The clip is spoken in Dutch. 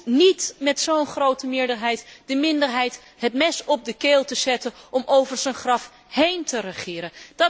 Hij hoeft niet met zo'n grote meerderheid de minderheid het mes op de keel te zetten om over zijn graf heen te regeren.